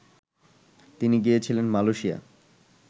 তিনি গিয়েছিলেন, মালেয়শিয়া